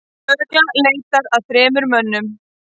Lögreglan leitar að þremur mönnum